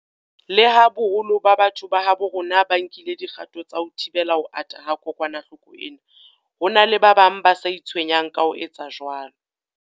Leha boholo ba batho ba habo rona ba nkile dikgato tsa ho thibela ho ata ha kokwanahloko ena, ho na le ba bang ba sa itshwenyang ka ho etsa jwalo.